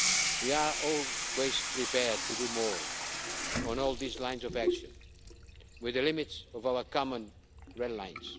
of Syria. We are always prepared to do more on all these lines of action, within the limits of our common red